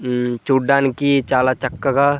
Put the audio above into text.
ఇవి చూడ్డానికి చాలా చక్కగా.